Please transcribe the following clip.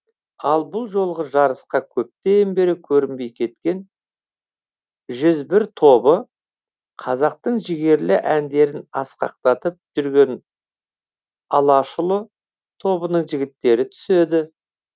ал бұл жолғы жарысқа көптен бері көрінбей кеткен жүз бір тобы қазақтың жігерлі әндерін асқақтатып жүрген алашұлы тобының жігіттері түседі